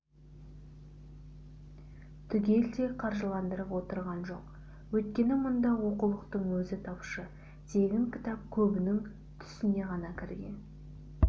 түгелдей қаржыландырып отырған жоқ өйткені мұнда оқулықтың өзі тапшы тегін кітап көбінің түсіне ғана кірген